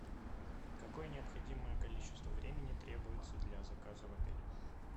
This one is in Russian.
какое необходимое количество времени требуется для заказа в отеле